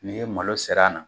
N'i ye malo ser'a na